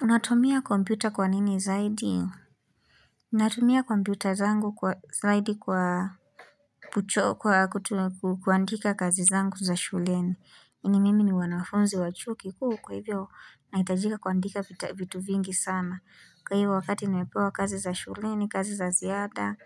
Unatumia kompyuta kwa nini zaidi? Natumia kompyuta zangu zaidi kwa kuandika kazi zangu za shuleni. Ni mimi ni mwanafunzi wa chuo kikuu kwa hivyo nahitajika kuandika vitu vingi sana. Kwa hivyo wakati nimepewa kazi za shuleni, kazi za ziada